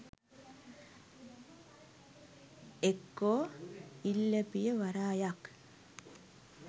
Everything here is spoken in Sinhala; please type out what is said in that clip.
එක්කො ඉල්ලපිය වරායක්